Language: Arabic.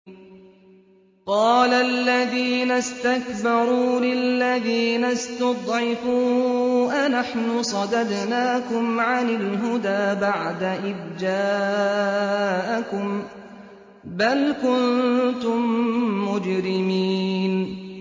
قَالَ الَّذِينَ اسْتَكْبَرُوا لِلَّذِينَ اسْتُضْعِفُوا أَنَحْنُ صَدَدْنَاكُمْ عَنِ الْهُدَىٰ بَعْدَ إِذْ جَاءَكُم ۖ بَلْ كُنتُم مُّجْرِمِينَ